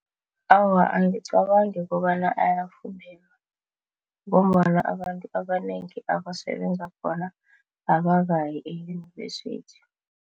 Awa, angicabangi kobana ngombana abantu abanengi abasebenza khona abakayi e-uyunivesithi.